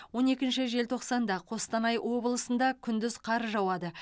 он екінші желтоқсанда қостанай облысында күндіз қар жауады